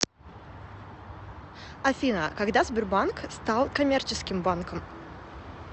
афина когда сбербанк стал коммерческим банком